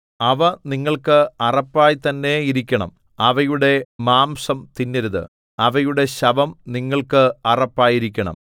അവ നിങ്ങൾക്ക് അറപ്പായി തന്നെ ഇരിക്കണം അവയുടെ മാംസം തിന്നരുത് അവയുടെ ശവം നിങ്ങൾക്ക് അറപ്പായിരിക്കണം